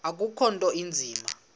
akukho nto inzima